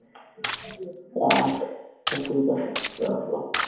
আচ্ছা ঠিক আসে রাখলাম